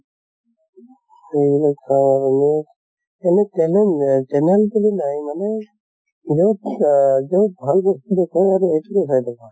এইবিলাক চাওঁ এনে, এনে channel এহ channel বুলি নাই মানে যʼত আহ যʼত ভাল বস্তু দেখো আৰু সেইটোয়ে চাই থাকো।